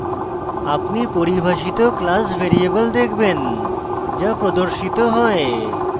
আপনি পরিভাষিত class variable দেখবেন যা প্রদর্শিত you